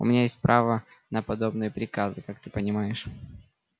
у меня есть право на подобные приказы как ты понимаешь